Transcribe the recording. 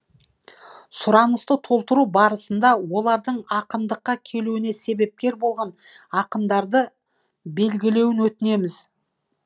сұранысты толтыру барысында олардың ақындыққа келуіне себепкер болған ақындарды белгілеуін өтінеміз